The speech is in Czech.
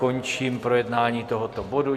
Končím projednání tohoto bodu.